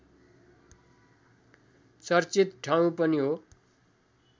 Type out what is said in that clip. चर्चित ठाउँ पनि हो